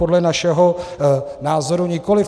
Podle našeho názoru nikoliv.